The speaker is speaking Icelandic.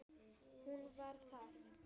Hún: Var það?